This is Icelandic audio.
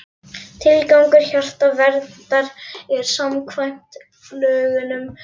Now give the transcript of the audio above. Tilgangur Hjartaverndar er samkvæmt lögunum þessi